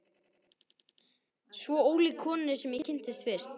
Svo ólík konunni sem ég kynntist fyrst.